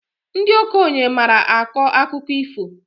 Ndị okenye maara akọ akụkọ ifo